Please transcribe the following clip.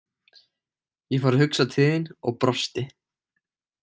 Ég fór að hugsa til þín og brosti.